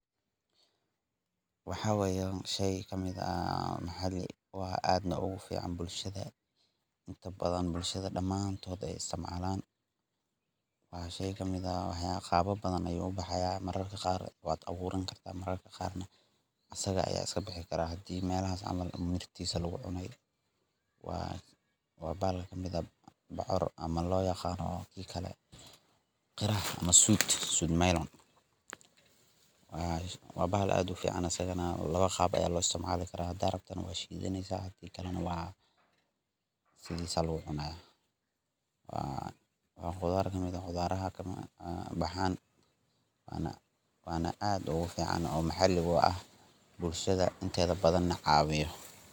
Waxa waye shey kamid ah aadna ugu fiican bulshada ,inta badan bulshada dhamaan ay wada isticmalaaan ,waa shey kamid ah qaabab badan ayuu u baxaya marar badan ,mararka qaar waad awuuran kartaa ,mararka qaar asaga ayaa iska bixi karaa melaha camal haddii xididkisa lagu qodo waa bocor ama loo yaqaano qiraha sweet melon. Waabahal aad u fiican asagana lawa qaab ayaa loo isticmaali karaaa haddaad rabto adigane .Waa khudaar kamid ah khudaarada baxaan waa aad ogu fiican bulshada inteeda badan na caawiya .